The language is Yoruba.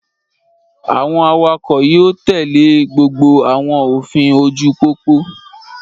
Àwọn awakọ̀ yóò tèlé gbogbo àwọn òfin ojú-pópó